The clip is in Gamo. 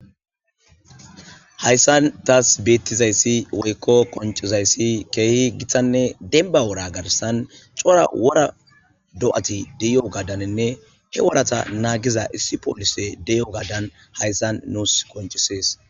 Haysan tas betizayssi woykko qon izAyssi kehi gitane denbba wora garssan corra wora dayati de'yoganinne he wora nagiya issi polisey deyogada hayssan nusi qoncisses